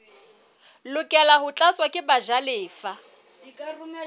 lokela ho tlatswa ke bajalefa